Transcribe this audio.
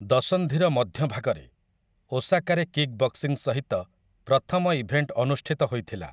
ଦଶନ୍ଧିର ମଧ୍ୟଭାଗରେ, ଓସାକାରେ କିକ୍ ବକ୍ସିଂ ସହିତ ପ୍ରଥମ ଇଭେଣ୍ଟ ଅନୁଷ୍ଠିତ ହୋଇଥିଲା ।